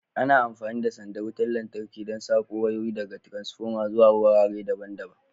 Ana amfani da sandar wutar lantarki don sako wayoyi daga taransfoma zuwa wurare daban-daban.